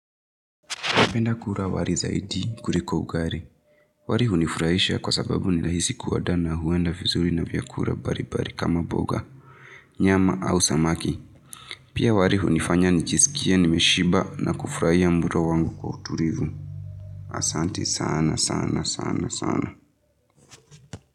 Napenda kula wari zaidi kuriko ugari. Wari hunifurahisha kwa sababu nilahisi kuadaa na huenda vizuri na vyakura bari bari kama boga. Nyama au samaki. Pia wari hunifanya nijiskie nimeshiba na kufurahia mlo wangu kwa uturivu. Asanti sana sana sana sana.